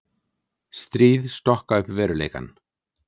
Stríð stokka upp veruleikann.